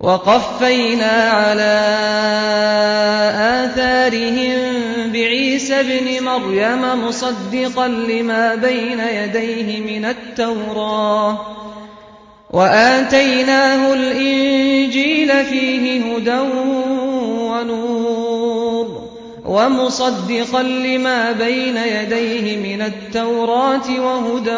وَقَفَّيْنَا عَلَىٰ آثَارِهِم بِعِيسَى ابْنِ مَرْيَمَ مُصَدِّقًا لِّمَا بَيْنَ يَدَيْهِ مِنَ التَّوْرَاةِ ۖ وَآتَيْنَاهُ الْإِنجِيلَ فِيهِ هُدًى وَنُورٌ وَمُصَدِّقًا لِّمَا بَيْنَ يَدَيْهِ مِنَ التَّوْرَاةِ وَهُدًى